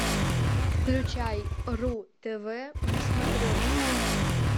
включай ру тв на смотрешке